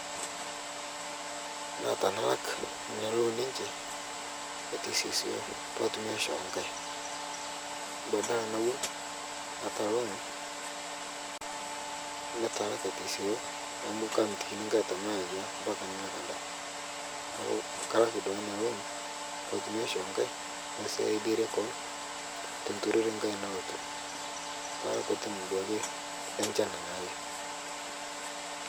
Naa tanalak nia looni enche aiteseseyo patumi aishoo nkae badala nawon ata loon natalak aiteseyo amu kamitiki nkae tanalo ayia mpaka nalak anda naaku kalak duake ana loon patumi aishoo nkae naisadiari koon tenturore nkae nalotu talapatin duake lenchan naake.